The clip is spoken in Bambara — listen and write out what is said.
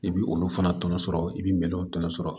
I bɛ olu fana tɔnɔ sɔrɔ i bɛ minɛnw tɔnɔ sɔrɔ